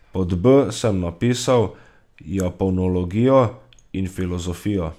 Pod b sem napisal japonologijo in filozofijo.